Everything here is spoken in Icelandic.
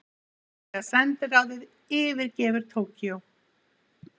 Þýska sendiráðið yfirgefur Tókýó